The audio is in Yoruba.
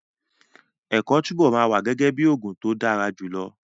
Ẹ̀kọ́ túbọ̀ máa wà gẹ́gẹ́ bíi ogún tó dára jùlọ.